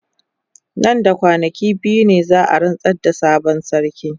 Nan da kwanaki biyu ne za a rantsar da sabon sarki.